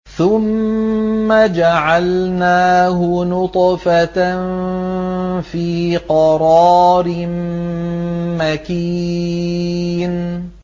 ثُمَّ جَعَلْنَاهُ نُطْفَةً فِي قَرَارٍ مَّكِينٍ